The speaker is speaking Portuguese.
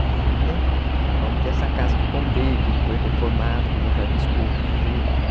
Uma dessa casa que eu contei, que foi reformada, que meu pai buscou o pintor e tal.